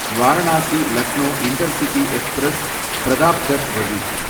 Varanasi Lucknow intercity express, Pratapgarh வழி